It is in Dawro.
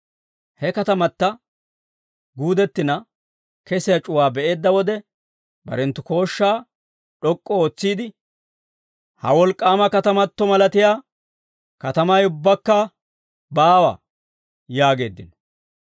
He katamata guudettina kesiyaa c'uwaa be'eedda wode barenttu kooshshaa d'ok'k'u ootsiide, «Ha wolk'k'aama katamato malatiyaa katamay ubbaakka baawa» yaageeddino.